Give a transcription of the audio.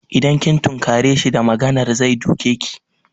Idan kin tunkare shi da maganar zai duke ki.